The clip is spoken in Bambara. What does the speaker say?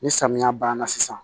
Ni samiya banna sisan